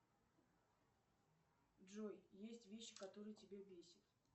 джой есть вещи которые тебя бесят